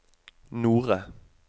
Nore